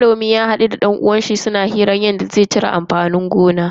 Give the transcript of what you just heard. Manomin ya hadu da dan uwanshi suna hirar yadda za su cire amfanin gona sati mai zuwa.